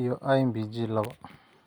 iyo IMPG laba.